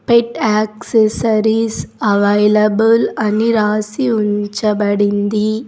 పెట్ accessories available అని రాసి ఉంచబడింది.